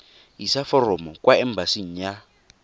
isa foromo kwa embasing ya